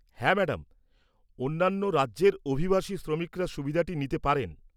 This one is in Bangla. হ্যাঁ, ম্যাডাম, অন্যান্য রাজ্যের অভিবাসী শ্রমিকরা সুবিধাটি নিতে পারেন।